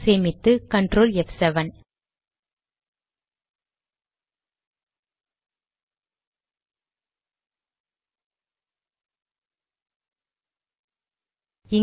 சேமித்து கன்ட்ரோல் ப்7